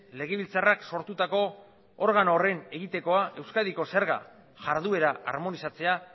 legebiltzarrak sortutako organo horren egitekoa euskadiko zerga jarduera armonizatzea